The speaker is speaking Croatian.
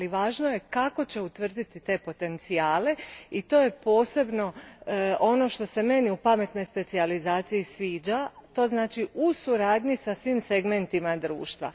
Ali važno je kako će utvrditi te potencijale i to je posebno ono što se meni u pametnoj specijalizaciji sviđa, to znači u suradnji sa svim segmentima društva.